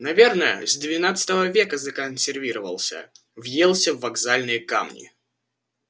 наверное с девятнадцатого века законсервировался въелся в вокзальные камни